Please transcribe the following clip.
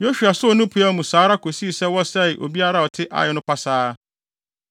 Yosua soo ne peaw no mu saa ara kosii sɛ wɔsɛee obiara a ɔte Ai no pasaa.